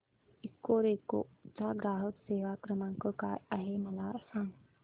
Ecoreco चा ग्राहक सेवा क्रमांक काय आहे मला सांग